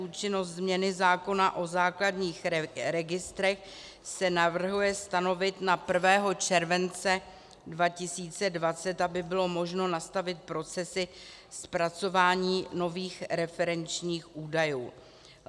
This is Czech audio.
Účinnost změny zákona o základních registrech se navrhuje stanovit na 1. července 2020, aby bylo možno nastavit procesy zpracování nových referenčních údajů.